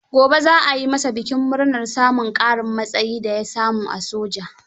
Gobe za a yi masa bikin murnar samun ƙarin matsayin da ya samu a soja.